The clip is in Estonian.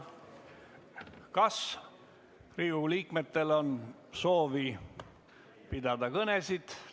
Kas Riigikogu liikmetel on soovi pidada kõnesid?